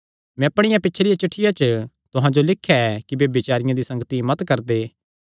मैं अपणिया पिछलिया चिठ्ठिया च तुहां जो लिख्या ऐ कि ब्यभिचारियां दी संगति मत करदे